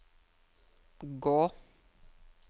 gå